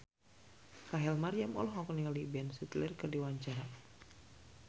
Rachel Maryam olohok ningali Ben Stiller keur diwawancara